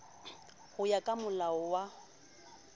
ho ya ka molao wa